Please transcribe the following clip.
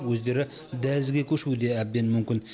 өздері дәлізге көшуі де әбден мүмкін